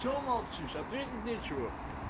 что молчишь ответить нечего